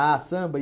Ah, samba. E